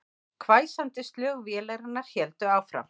Hvæsandi slög vélarinnar héldu áfram